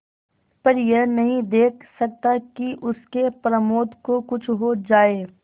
पर यह नहीं देख सकता कि उसके प्रमोद को कुछ हो जाए